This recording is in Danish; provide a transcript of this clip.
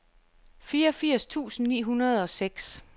fireogfirs tusind ni hundrede og seks